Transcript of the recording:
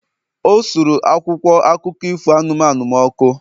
O suru akwụkwọ akụkọ ifo anụmanụ m ọkụ